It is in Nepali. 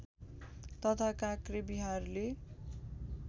तथा काक्रे विहारले